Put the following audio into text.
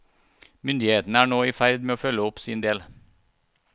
Myndighetene er nå i ferd med å følge opp sin del.